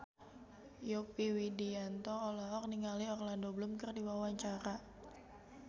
Yovie Widianto olohok ningali Orlando Bloom keur diwawancara